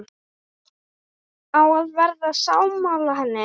Á að vera sammála henni.